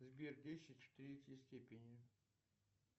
сбер десять в третьей степени